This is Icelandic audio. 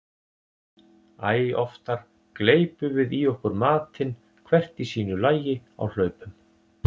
Æ oftar gleypum við í okkur matinn hvert í sínu lagi á hlaupum.